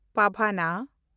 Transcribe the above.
ᱯᱟᱣᱱᱟ